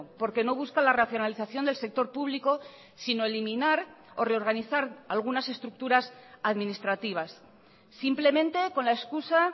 porque no busca la racionalización del sector público sino eliminar o reorganizar algunas estructuras administrativas simplemente con la excusa